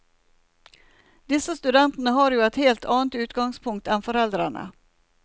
Disse studentene har jo et helt annet utgangspunkt enn foreldrene.